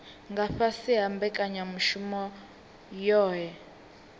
nga fhasi ha mbekanyamushumo yohe